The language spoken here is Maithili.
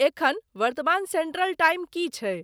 एखन वर्तमान सेन्ट्रल टाइम की छै